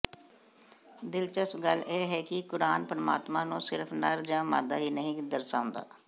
ਦਿਲਚਸਪ ਗੱਲ ਇਹ ਹੈ ਕਿ ਕੁਰਾਨ ਪਰਮਾਤਮਾ ਨੂੰ ਸਿਰਫ਼ ਨਰ ਜਾਂ ਮਾਦਾ ਹੀ ਨਹੀਂ ਦਰਸਾਉਂਦਾ